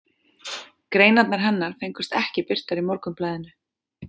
Greinarnar hennar fengust ekki birtar í Morgunblaðinu.